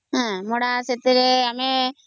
ସେଥିରେ ଆମେ